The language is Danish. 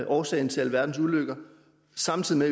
årsag til alverdens ulykker samtidig